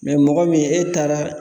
mɔgɔ min e taara